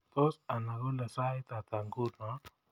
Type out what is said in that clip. Tos anai kole sait hata nguno